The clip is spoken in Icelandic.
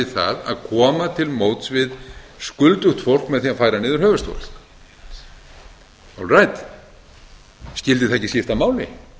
það að koma til móts við skuldugt fólk með því að færa niður höfuðstól olræt skyldi það ekki skipta máli